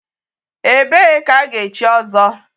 Ebee ka ga-echi ọzọ?